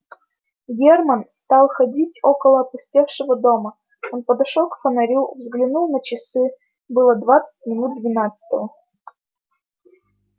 германн стал ходить около опустевшего дома он подошёл к фонарю взглянул на часы было двадцать минут двенадцатого